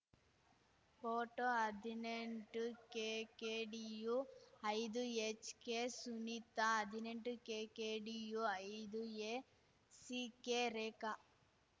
photo ಹದಿನೆಂಟುಕೆಕೆಡಿಯುಐದು ಎಚ್‌ಕೆಸುನಿತಾ ಹದಿನೆಂಟುಕೆಕೆಡಿಯುಐದುಎ ಸಿಕೆ ರೇಖಾ